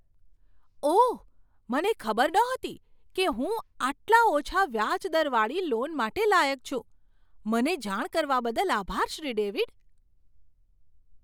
ઓહ! મને ખબર નહોતી કે હું આટલા ઓછા વ્યાજ દરવાળી લોન માટે લાયક છું. મને જાણ કરવા બદલ આભાર, શ્રી ડેવિડ.